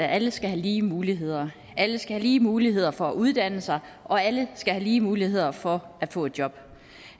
alle skal have lige muligheder alle skal have lige muligheder for at uddanne sig og alle skal have lige muligheder for at få et job